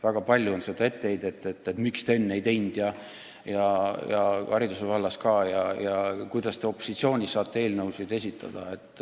Väga palju on olnud kuulda etteheidet, miks te üht või teist enne ei teinud – seda ka hariduse vallas – ja kuidas te nüüd opositsioonis olles saate eelnõusid esitada.